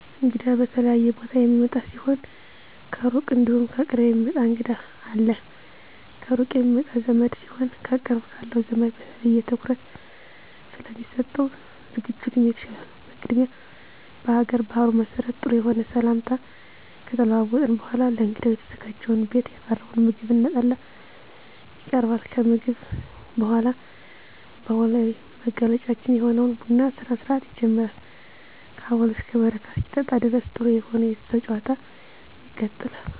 እንግዳ ከተለያየ ቦታ የሚመጣ ሲሆን ከሩቅ እንዲሁም ከቅርብ የሚመጣ እንግዳ አለ። ከሩቅ የሚመጣ ዘመድ ሲሆን ከቅርብ ካለው ዘመድ በተለየ ትኩረት ስለሚሰጠው ዝግጅቱም የተሻለ ነው። በቅድሚያ በሀገር ባህሉ መሰረት ጥሩ የሆነ ሰላምታ ከተለዋወጥን በኃላ ለእንግዳው የተዘጋጀውን ቤት ያፈራውን ምግብ እና ጠላ ይቀርባል። ከምግብ በኃላ ባህላዊ መገለጫችን የሆነውን የቡና ስነስርአት ይጀመራል ከአቦል እስከ በረካ እስኪጠጣ ድረስ ጥሩ የሆነ የቤተሰብ ጭዋታ ይቀጥላል።